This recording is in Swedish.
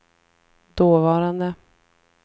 dåvarande